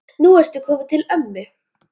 Nú ertu kominn til ömmu.